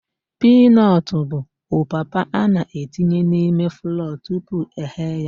Piinọtụ bụ opapa a na-etinye n'ime flọọ tupu eghe ya.